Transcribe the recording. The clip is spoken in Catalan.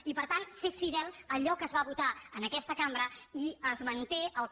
i per tant ser fidel a allò que es va votar en aquesta cambra i es manté el que